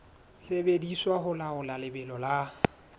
sebediswa ho laola lebelo la